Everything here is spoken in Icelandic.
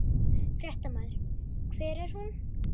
Fréttamaður: Hver er hún?